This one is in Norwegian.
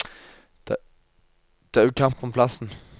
Det er jo kamp om plassen.